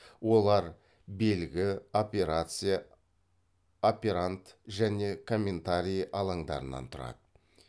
олар белгі операция операнд және комментарий алаңдарынан тұрады